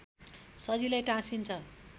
सजिलै टाँसिन्छ